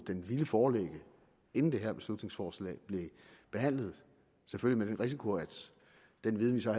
den ville foreligge inden det her beslutningsforslag blev behandlet selvfølgelig med den risiko at den viden vi så